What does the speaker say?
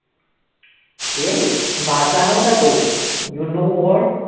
ए मासा नव्हता तो you know what